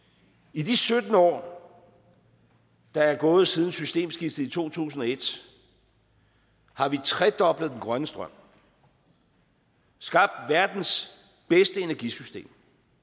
i de sytten år der er gået siden systemskiftet i to tusind og et har vi tredoblet den grønne strøm skabt verdens bedste energisystem